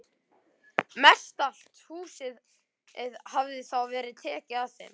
Mestallt húsið hafði þá verið tekið af þeim.